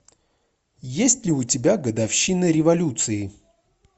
есть ли у тебя годовщина революции